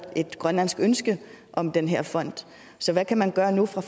et grønlandsk ønske om den her fond så hvad kan man gøre nu fra